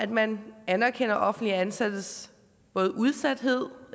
man anerkender offentligt ansattes både udsathed